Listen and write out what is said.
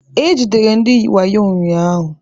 E jidere ndị wayo ụnyahụ.